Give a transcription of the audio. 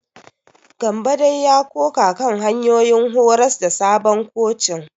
Gambo dai ya ƙoƙa kan hanyoyin horas da sabon kocin.